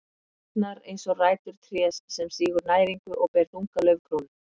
Tærnar eins og rætur trés sem sýgur næringu og ber þunga laufkrónu.